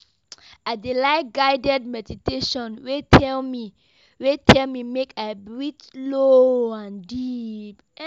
I dey like guided meditation wey tell me wey tell me make I breathe slow and deep.